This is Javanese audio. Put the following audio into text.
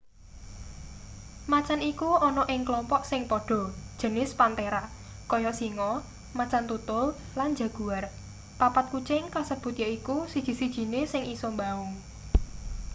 macan iku ana ing kelompok sing padha jenis panthera kaya singa macan tutul lan jaguar. papat kucing kasebut yaiku siji-sijine sing isa mbaung